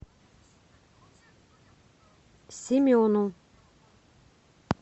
семену